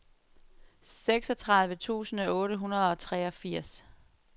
seksogtredive tusind otte hundrede og treogfirs